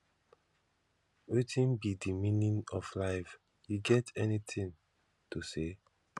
wetin be di meaning of life you get any thing to say